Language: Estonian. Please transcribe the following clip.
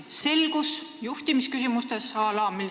Esiteks, selgus juhtimisküsimustes.